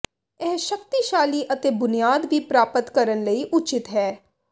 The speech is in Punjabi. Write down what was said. ਇਹ ਸ਼ਕਤੀਸ਼ਾਲੀ ਅਤੇ ਬੁਨਿਆਦ ਵੀ ਪ੍ਰਾਪਤ ਕਰਨ ਲਈ ਉਚਿਤ ਹੈ